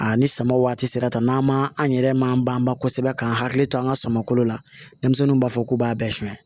A ni sama waati sera ta n'an ma an yɛrɛ man ban kosɛbɛ k'an hakili to an ka suman kolo la denmisɛnninw b'a fɔ k'u b'a bɛɛ suɲɛ